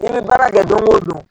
I bi baara kɛ don o don.